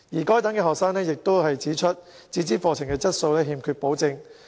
該等學生亦指出，自資課程的質素欠缺保證。